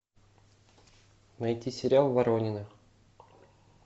найти сериал воронины